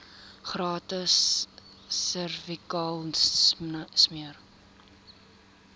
gratis servikale smere